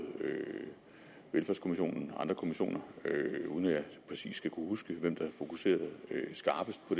velfærdskommissionen og andre kommissioner uden at jeg præcis husker hvem der fokuserede skarpest på